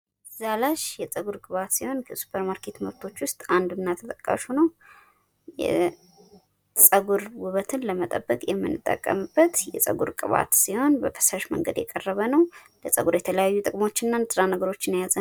ዛላሽ የጸጉር ቅባት ሲሆን ከሱፐርማርኬት ምርቶች ውስጥ አንዱ እና ተጠቃሹ ነው። የጸጉር ውበትን ለመጠበቅ ምንጠቀምበት ሲሆን በፈሳሽ መንገድ የቀረበ ነው። ለጸጉር የተለያዩ ጥቅሞች እና ንጥረ ነገሮች የያዘ ነው።